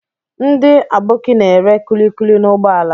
Ndị Aboki na-ere kulikuli n'ụgbọala.